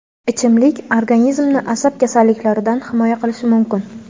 ichimlik organizmni asab kasalliklaridan himoya qilishi mumkin.